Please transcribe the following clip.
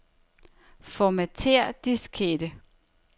Formatér diskette.